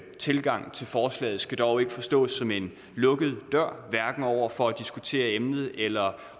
tilgang til forslaget skal dog ikke forstås som en lukket dør hverken over for at diskutere emnet eller